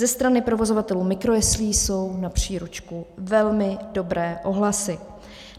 Ze strany provozovatelů mikrojeslí jsou na příručku velmi dobré ohlasy.